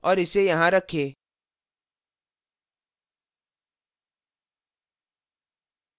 और इसे यहाँ रखें